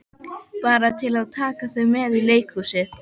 Bara til að taka þau með í leikhúsið.